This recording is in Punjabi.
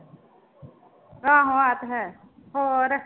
ਆਹੋ ਆਹ ਤਾਂ ਹੈ ਹੋਰ।